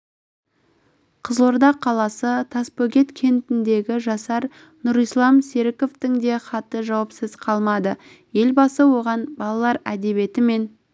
қызылорда қаласы тасбөгет кентіндегі жасар нұрислам серіковтің де хаты жауапсыз қалмады елбасы оған балалар әдебиеті мен